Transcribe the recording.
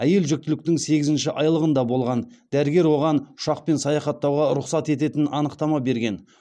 әйел жүктіліктің сегізінші айлығында болған дәрігер оған ұшақпен саяхаттауға рұқсат ететін анықтама берген